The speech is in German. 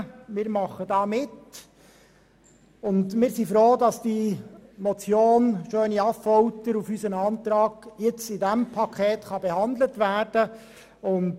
Wir sind froh, dass die Motion SchöniAffolter auf unseren Antrag hin im Rahmen dieses Pakets behandelt werden kann.